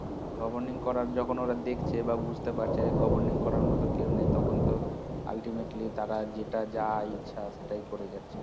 governing করার যখন ওরা দেখছে বা বুঝতে পারছে যে governing করার মত কেও নেই তখন তো ultimately তারা যেটা যা ইচ্ছা সেটা করে যাচ্ছে